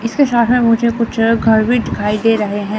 इससे ज्यादा मुझे कुछ घर भी दिखाई दे रहे हैं।